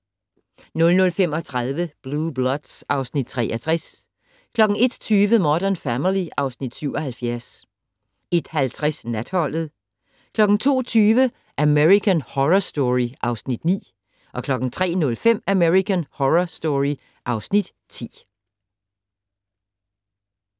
00:35: Blue Bloods (Afs. 63) 01:20: Modern Family (Afs. 77) 01:50: Natholdet 02:20: American Horror Story (Afs. 9) 03:05: American Horror Story (Afs. 10)